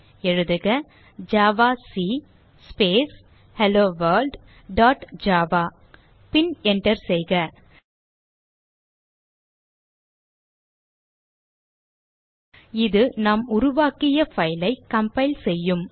எழுதுக javac space hello world dot java பின் enter செய்க இது நாம் உருவாக்கிய file ஐ கம்பைல் செய்யும்